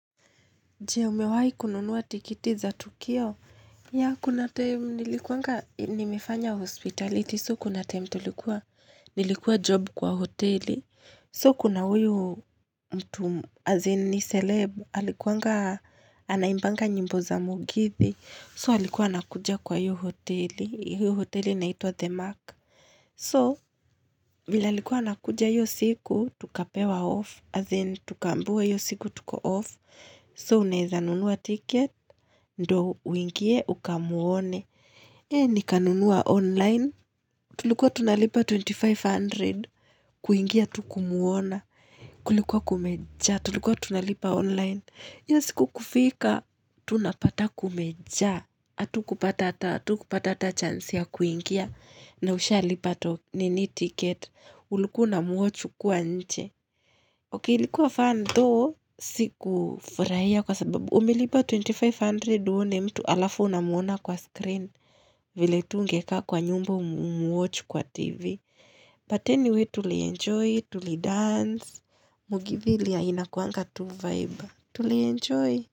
Jee, umewahi kununuwa tikit iza Tukio? Ya, kuna time, nilikuanga, nimefanya hospitality, so kuna time tulikuwa, nilikuwa job kwa hoteli, so kuna huyu mtu, as in ni seleb, alikuanga, anaimbanga nyimbo za mugithi, so alikuwa anakuja kwa hiyo hoteli, hiyo hoteli inaitwa The Mark. So, vile alikuwa anakuja hiyo siku, tukapewa off, as in, tukambiwa hiyo siku tuko off. So, unaeza nunua ticket, ndo uingie, uka muone. Hee nikanunua online, tulikuwa tunalipa 2500, kuingia tu kumuona, kulikuwa kumeja, tulikuwa tunalipa online. Hiyo siku kufika, tunapata kumeja, atu kupata ata, atu kupata ata chans ya kuingia, na usha lipato nini ticket, ulikuwa una muwach ukwa nje. Ok, likuwa fan tho, siku furahia kwa sababu, umelipa 2500 uone mtu alafu unamuona kwa screen, vile tu ungeka kwa nyumba umuwach kwa TV. But anyway tuli enjoy, tuli dance, mugithi lia inakuanga tu vibe. Tuli enjoy.